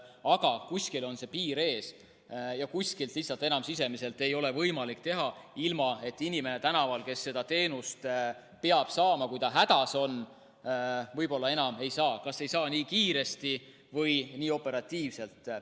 Aga kuskil on piir ees ja kuskilt lihtsalt enam sisemiste ei ole võimalik teha, ilma et inimene tänaval, kes seda teenust peab saama, kui ta hädas on, võib-olla enam seda ei saa, ta ei saa seda nii kiiresti või nii operatiivselt.